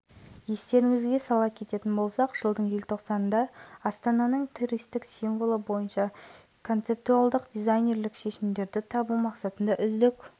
символ белгі қаланың статусын оның туристік тартымдылығын көрікті орындарын ландшафтының ерекшелігін және тарихын жеткізуге тиіс атап